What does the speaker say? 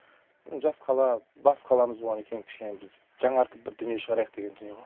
жас қала бас қаламыз болғаннан кейін кішкене біз жаңартып бір дүние шығарайық деген дүние ғой